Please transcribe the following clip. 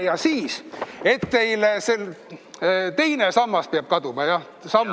Ja veel, teine sammas peab kaduma, jah?